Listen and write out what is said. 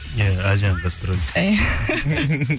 иә әлжанның гастролі